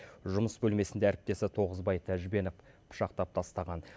жұмыс бөлмесінде әріптесі тоғызбай тәжбенов пышақтап тастаған